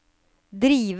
drive